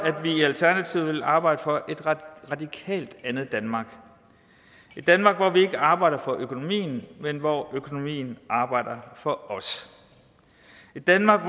vi i alternativet vil arbejde for et radikalt andet danmark et danmark hvor vi ikke arbejder for økonomien men hvor økonomien arbejder for os et danmark